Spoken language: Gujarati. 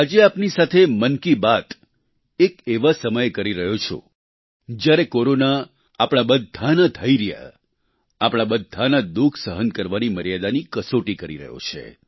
આજે આપની સાથે મન કી બાત એક એવા સમયે કરી રહ્યો છું જ્યારે કોરોના આપણા બધાના ધૈર્ય આપણા બધાના દુઃખ સહન કરવાની મર્યાદાની કસોટી કરી રહ્યો છે